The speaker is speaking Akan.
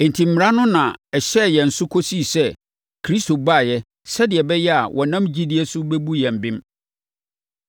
Enti, Mmara no na ɛhyɛɛ yɛn so kɔsii sɛ Kristo baeɛ sɛdeɛ ɛbɛyɛ a, wɔnam gyidie so bɛbu yɛn bem.